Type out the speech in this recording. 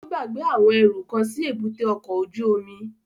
Ó gbàgbé àwọn ẹrú kan sí èbúté ọkọ̀ ojú omi